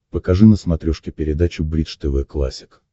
покажи на смотрешке передачу бридж тв классик